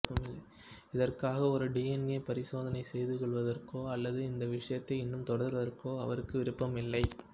இதற்காக ஒரு டிஎன்ஏ பரிசோதனை செய்து கொள்வதற்கோ அல்லது இந்த விஷயத்தை இன்னும் தொடர்வதற்கோ அவருக்கு விருப்பமில்லை